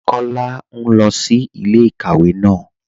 Kọla n lọ sí ilẹ̀-ikàwé náà.